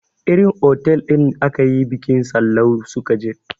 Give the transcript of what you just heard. Irin otal ɗin akayi bikin Sallau su ka je